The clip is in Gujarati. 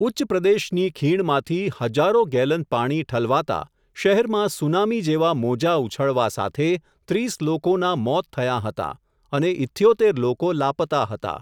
ઉચ્ચ પ્રદેશની ખીણમાંથી, હજારો ગેલન પાણી ઠલવાતા, શહેરમાં સુનામી જેવા મોજાં ઉછળવા સાથે, ત્રીસ લોકોનાં મોત થયાં હતા, અને ઇથ્યોતેર લોકો લાપતા હતા.